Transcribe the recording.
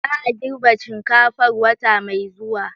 Za a girbe shinkafar wata mai zuwa